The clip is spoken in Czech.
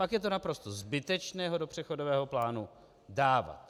Pak je to naprosto zbytečné ho do přechodového plánu dávat.